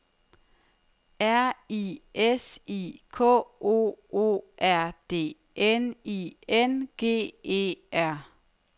R I S I K O O R D N I N G E R